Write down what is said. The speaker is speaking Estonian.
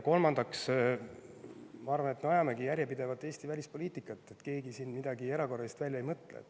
Kolmandaks, ma arvan, et me ajamegi järjepidevalt Eesti välispoliitikat, keegi siin midagi erakorralist välja ei mõtle.